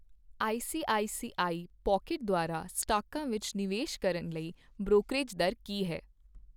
ICICI Pocket ਦੁਆਰਾ ਸਟਾਕਾਂ ਵਿੱਚ ਨਿਵੇਸ਼ ਕਰਨ ਲਈ ਬ੍ਰੋਕਰੇਜ ਦਰ ਕੀ ਹੈ?